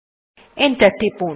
enter press টিপুন